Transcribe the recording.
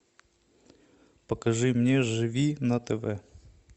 покажи мне живи на тв